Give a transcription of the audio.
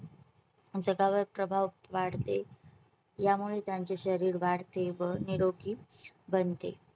जगावर प्रभाव वाढते. यामुळे त्यांचे शरीर वाढते व निरोगी बनते.